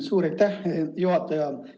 Suur aitäh, juhataja!